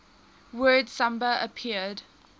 word samba appeared